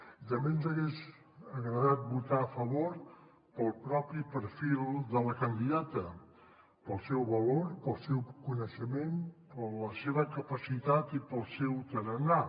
i també ens hagués agradat votar hi a favor pel propi perfil de la candidata pel seu valor pel seu coneixement per la seva capacitat i pel seu tarannà